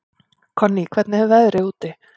Konný, hvernig er veðrið úti?